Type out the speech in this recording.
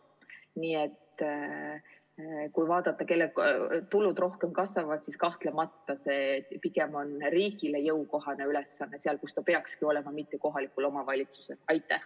Nii et kui vaadata, kelle tulud rohkem kasvavad, siis kahtlemata see pigem on riigile jõukohane ülesanne, nagu see peakski olema, mitte kohaliku omavalitsuse ülesanne.